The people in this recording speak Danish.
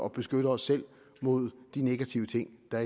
beskytte os selv mod de negative ting der